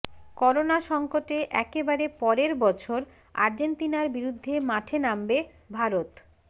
corona সংকটে একেবারে পরের বছর আর্জেন্তিনার বিরুদ্ধে মাঠে নামবে ভারত